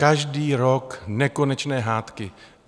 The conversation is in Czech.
Každý rok nekonečné hádky.